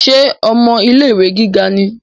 Ṣe ọmọ ilé-ìwé gíga ni?